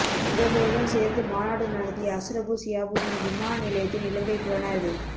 இவர்களுடன் சேர்ந்து மாநாடு நடத்திய அஸ்ரபு சியாபுதின் விமான நிலையத்தில் இலங்கை புலனாய்வு